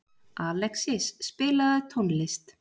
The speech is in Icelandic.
Alexis, spilaðu tónlist.